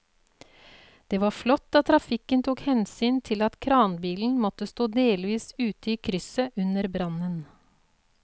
Det var flott at trafikken tok hensyn til at kranbilen måtte stå delvis ute i krysset under brannen.